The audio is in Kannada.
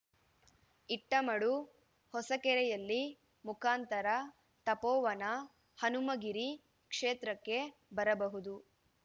ಇಟ್ಟಮಡು ಹೊಸಕೆರೆಹಳ್ಳಿ ಮುಖಾಂತರ ತಪೋವನ ಹನುಮಗಿರಿ ಕ್ಷೇತ್ರಕ್ಕೆ ಬರಬಹುದು